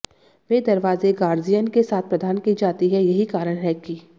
वे दरवाजे गार्जियन के साथ प्रदान की जाती हैं यही कारण है कि